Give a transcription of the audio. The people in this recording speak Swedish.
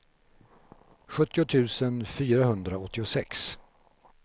sjuttio tusen fyrahundraåttiosex